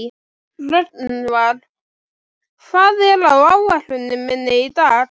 Rögnvar, hvað er á áætluninni minni í dag?